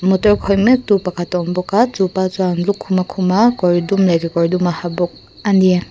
motor khawih mek tu pakhat a awm bawk a chupa chuan lukhum a khum a kawr dum leh kekawr dum a ha bawk a ni.